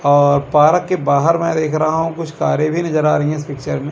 और पार्क के बाहर में देख रहा हूं कुछ कारे भी नजर आ रही है इस पिक्चर में।